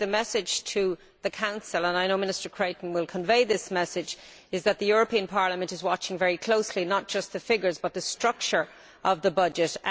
I think the message to the Council and I know Minister Creighton will convey this message is that the European Parliament is watching very closely not just the figures, but the structure of the budget.